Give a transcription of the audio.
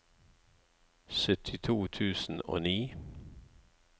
syttito tusen og ni